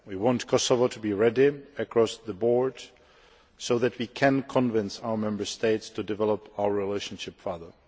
We want Kosovo to be ready across the board so that we can convince our Member States to develop our relationship further.